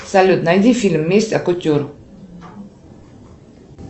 салют найди фильм месть от кутюр